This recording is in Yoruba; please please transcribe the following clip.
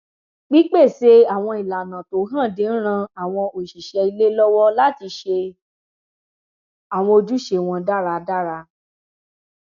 pípèsè àwọn ìlànà tó hànde n ran àwọn òṣìṣẹ ilé lọwọ láti ṣe àwọn ojúṣe wọn dáradára